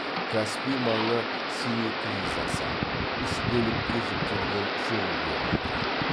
каспий маңы синеклизасы үш бөлікке жіктелген шөгінділерден тұрады